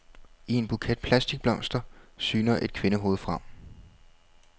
I en buket plastikblomster syner et kvindehoved frem.